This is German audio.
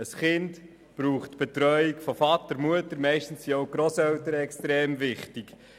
Ein Kind braucht die Betreuung von Vater und Mutter, meistens sind auch die Grosseltern sehr wichtig.